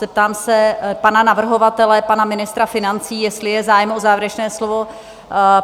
Zeptám se pana navrhovatele, pana ministra financí, jestli je zájem o závěrečné slovo?